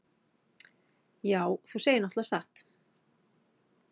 Já, þú segir náttúrlega satt.